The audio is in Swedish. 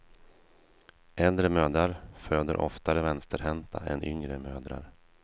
Äldre mödrar föder oftare vänsterhänta än yngre mödrar.